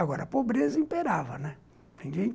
Agora, a pobreza imperava, né.